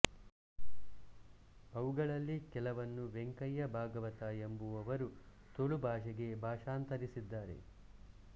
ಅವುಗಳಲ್ಲಿ ಕೆಲವನ್ನು ವೆಂಕಯ್ಯ ಭಾಗವತ ಎಂಬುವವರು ತುಳು ಭಾಷೆಗೆ ಭಾಷಾಂತರಿಸಿದ್ದಾರೆ